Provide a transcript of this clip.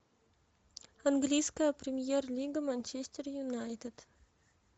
английская премьер лига манчестер юнайтед